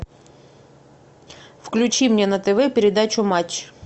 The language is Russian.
включи мне на тв передачу матч